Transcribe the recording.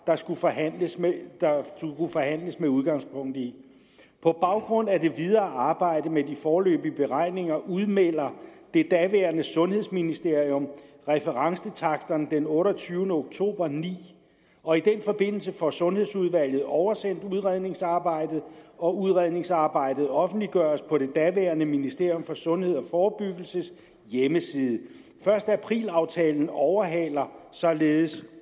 der skulle forhandles med forhandles med udgangspunkt i på baggrund af det videre arbejde med de foreløbige beregninger udmelder det daværende sundhedsministerium referencetaksterne den otteogtyvende oktober og ni og i den forbindelse får sundhedsudvalget oversendt udredningsarbejdet og udredningsarbejdet offentliggøres på det daværende ministeriet for sundhed og forebyggelses hjemmeside første april aftalen overhaler således